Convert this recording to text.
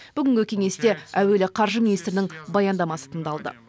бүгінгі кеңесте әуелі қаржы министрінің баяндамасы тыңдалды